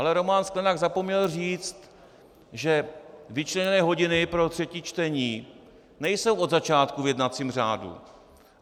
Ale Roman Sklenák zapomněl říct, že vyčleněné hodiny pro třetí čtení nejsou od začátku v jednacím řádu.